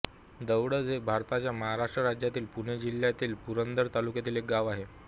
दौडज हे भारताच्या महाराष्ट्र राज्यातील पुणे जिल्ह्यातील पुरंदर तालुक्यातील एक गाव आहे